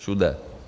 Všude.